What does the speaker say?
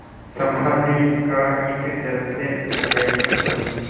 समाधि का इस जल से अन्वेषण करूँगी